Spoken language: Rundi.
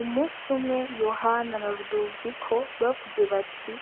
Umunsi umwe YOHANA na RUDOVIKO bavuze bati